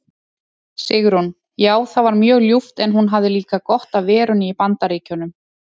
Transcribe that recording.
Sigrún: Já það var mjög ljúft en hún hafði líka gott af verunni í BAndaríkjunum.